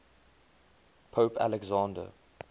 pope alexander